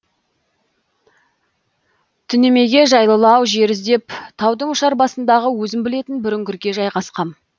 түнемеге жайлылау жер іздеп таудың ұшар басындағы өзім білетін бір үңгірге жайғасқам